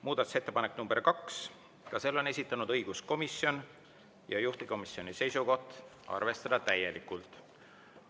Muudatusettepanek nr 2, ka selle on esitanud õiguskomisjon, juhtivkomisjoni seisukoht: arvestada täielikult.